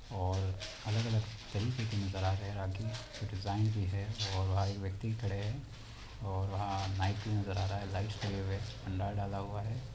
और अलग-अलग तरीकों के नजर आ रहे है राखी की डिज़ाइन भी हैंऔर एक व्यक्ति खड़े हैं और वहां लाइट भी नजर आ रहा हैं लाइट में डाला हुआ है।